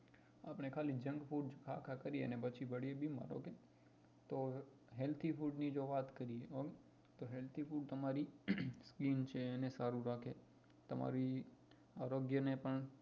આપણે ખાલી junk food ખા ખા કરીએ અને પછી પડીએ બીમાર તો healthy food ની જો વાત કરીએ તો એ તમારી